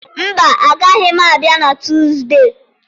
Mba, agaghị m abịa na Tuusdee.